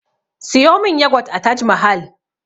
Siyo min yagwat a taj mahal